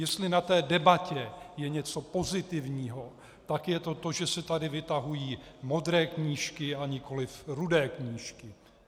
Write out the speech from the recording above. Jestli na té debatě je něco pozitivního, tak je to to, že se tady vytahují modré knížky, a nikoliv rudé knížky.